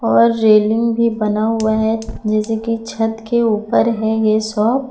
और रेलिंग भी बना हुआ है जैसे की छत के ऊपर है ये शॉप।